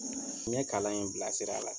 N ye kalan in bila sira la.